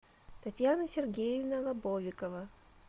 татьяна сергеевна лобовикова